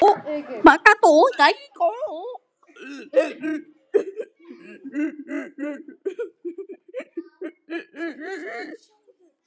Stynur þungan.